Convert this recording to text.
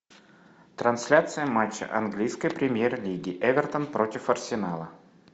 трансляция матча английской премьер лиги эвертон против арсенала